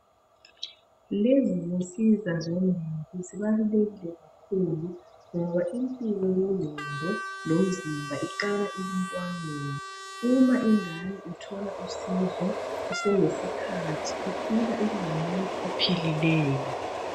Lezi zinsika zombili zibalulekile kakhulu ngoba impilo yengqondo lomzimba iqala emntwaneni uma ingane ithola usizo kuselesikhathi ikhula ibe ngumuntu ophilileyo.